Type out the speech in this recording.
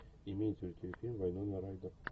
имеется ли у тебя фильм вайнона райдер